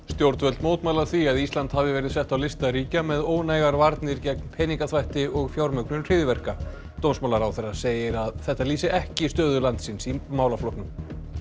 stjórnvöld mótmæla því að Ísland hafi verið sett á lista ríkja með ónægar varnir gegn peningaþvætti og fjármögnun hryðjuverka dómsmálaráðherrra segir að þetta lýsi ekki stöðu landsins í málaflokknum